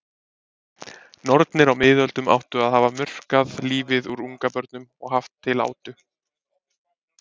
Nornir á miðöldum áttu að hafa murkað lífið úr ungabörnum og haft til átu.